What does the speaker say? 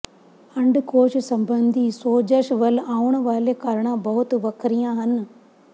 ਅੰਡਕੋਸ਼ ਸੰਬੰਧੀ ਸੋਜਸ਼ ਵੱਲ ਆਉਣ ਵਾਲੇ ਕਾਰਨਾਂ ਬਹੁਤ ਵੱਖਰੀਆਂ ਹਨ